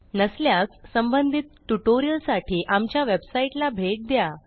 नसल्यास संबंधित ट्युटोरियलसाठी आमच्या वेबसाईटला भेट द्या